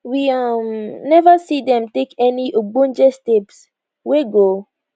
we um neva see dem take any ogbonge steps wey go